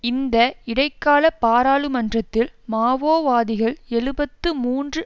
இந்த இடைக்கால பாராளுமன்றத்தில் மாவோவாதிகள் எழுபத்து மூன்று